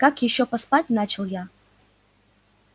как ещё поспать начал я